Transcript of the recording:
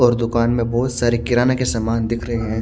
और दूकान में बहोत सारे किराणा का सामान दिख रहे है।